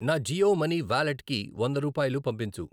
నా జియో మనీ వాలెట్కి వంద రూపాయలు పంపించు.